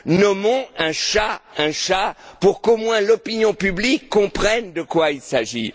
Nommons un chat un chat, pour qu'au moins, l'opinion publique comprenne de quoi il s'agit.